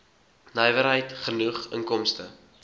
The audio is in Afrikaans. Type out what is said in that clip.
nywerheid genoeg inkomste